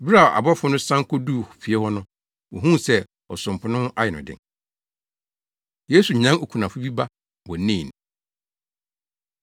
Bere a abɔfo no san koduu fie hɔ no, wohuu sɛ ɔsomfo no ho ayɛ no den. Yesu Nyan Okunafo Bi Ba Wɔ Nain